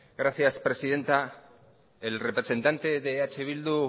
gracias presidenta el representante de eh bildu